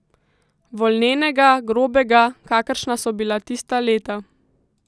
Volnenega, grobega, kakršna so bila tista leta.